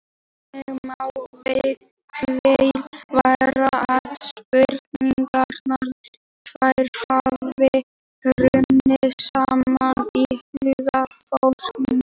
Þannig má vel vera að spurningarnar tvær hafi runnið saman í huga Forngrikkja.